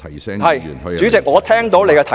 是的，主席，我聽到你的提醒。